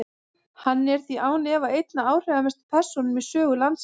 Hann er því án efa ein af áhrifamestu persónum í sögu landsins.